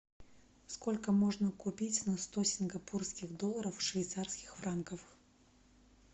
сколько можно купить на сто сингапурских долларов швейцарских франков